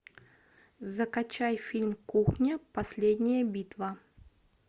закачай фильм кухня последняя битва